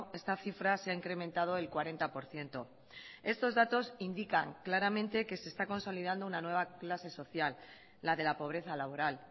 esta cifra se ha incrementado el cuarenta por ciento estos datos indican claramente que se está consolidando una nueva clase social la de la pobreza laboral